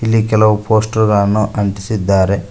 ಇಲ್ಲಿ ಕೆಲವು ಪೋಸ್ಟರ್ ಗಳನ್ನು ಅಂಟಿಸಿದ್ದಾರೆ.